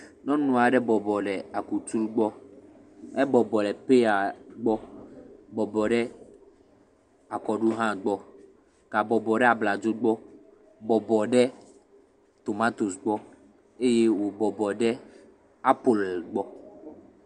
Nyɔnu aɖe bɔbɔ le akutu gbɔ, ebɔbɔ ɖe peya gbɔ, bɔbɔ ɖe akɔɖu hã gbɔ, gabɔbɔ ɖe abladzo gbɔ, bɔbɔ ɖe tomatosi gbɔ eye wòbɔbɔ ɖe apple hã gbɔ.